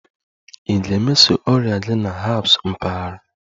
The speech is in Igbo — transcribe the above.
Ị ga-emeso ọrịa gị na herbs mpaghara?